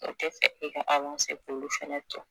O te fɛ i ka awanse k'olu fɛnɛ to